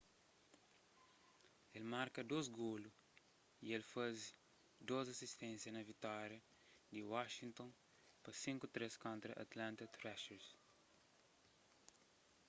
el marka 2 golu y el faze 2 asisténsia na vitória di washington pa 5-3 kontra atlanta thrashers